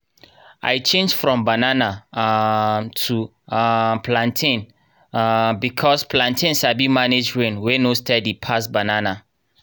i change from banana um to um plantain um because plantain sabi manage rain wey no steady pass banana.